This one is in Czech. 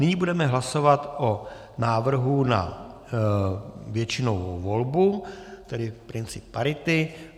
Nyní budeme hlasovat o návrhu na většinovou volbu, tedy princip parity.